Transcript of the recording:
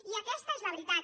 i aquesta és la veritat